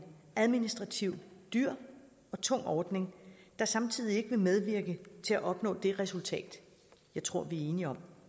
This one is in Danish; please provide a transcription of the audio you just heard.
administrativt dyr og tung ordning der samtidig ikke vil medvirke til at opnå det resultat jeg tror vi er enige om